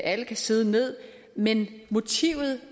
alle kunne sidde ned men motivet